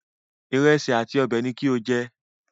Ìrẹsì àti ọbẹ̀ ni kí o jẹ